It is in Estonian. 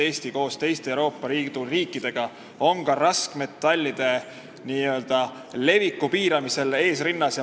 Eesti on koos teiste Euroopa Liidu riikidega ka raskmetallide heitkoguste piiramisel eesrinnas.